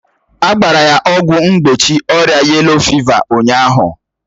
A gbara ya ọgwụ mgbochi ọrịa yelo fịva ụnyaahụ